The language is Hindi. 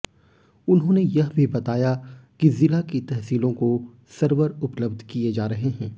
उन्होंने यह भी बताया कि जिला की तहसीलों को सर्वर उपलब्ध किए जा रहे हैं